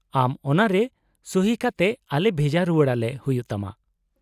-ᱟᱢ ᱚᱱᱟᱨᱮ ᱥᱩᱦᱤ ᱠᱟᱛᱮ ᱟᱞᱮ ᱵᱷᱮᱡᱟ ᱨᱩᱣᱟᱹᱲᱟᱞᱮ ᱦᱩᱭᱩᱜ ᱛᱟᱢᱟ ᱾